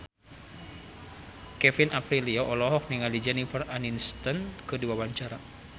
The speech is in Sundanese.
Kevin Aprilio olohok ningali Jennifer Aniston keur diwawancara